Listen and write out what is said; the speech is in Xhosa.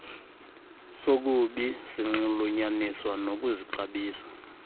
sokubi sinxulunyaniswa nokuzixabisa